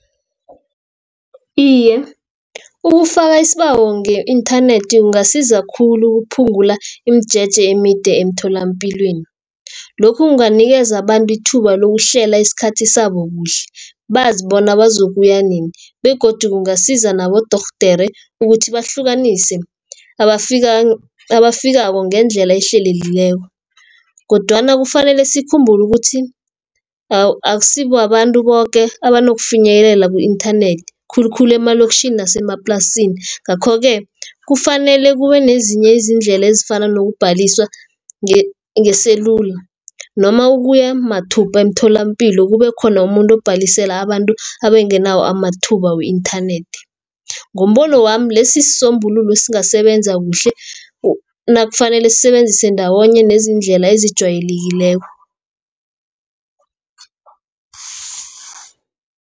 Iye ukufaka isibawo nge-inthanethi kungasiza khulu ukuphungula imijeje emide emtholapilweni. Lokhu kunganikeza abantu ithuba lokuhlela isikhathi sabo kuhle, bazi bona bazokubuya nini, begodu kungasiza nabodorhodere ukuthi bahlukanise nabafikako ngendlela ehlelekileko, kodwana kufanele sikhumbule ukuthi akusi babantu boke abanokufinyelela ku-inthanethi, khulukhulu emaloktjhini nasemaplasini. Ngakho-ke kufanele kube nezinye izindlela ezifana nokubhaliswa ngeselula, noma ukuya mathupha emtholampilo, kube khona umuntu ubhalisela abantu abengenako amathuba we-inthanethi. Ngombono wami lesi sisombululo esingasebenza kuhle, nakufanele sisebenzise ndawonye nezindlela ezijwayelekileko.